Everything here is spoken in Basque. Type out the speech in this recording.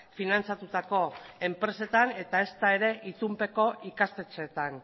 finantzatutako enpresetan eta ezta ere itunpeko ikastetxeetan